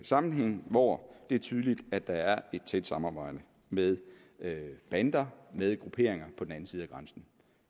sammenhænge hvor det er tydeligt at der er et tæt samarbejde med bander med grupperinger på den anden side af grænsen